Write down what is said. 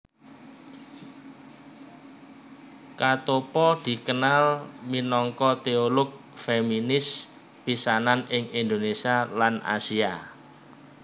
Katoppo dikenal minangka teolog feminis pisanan ing Indonesia lan Asia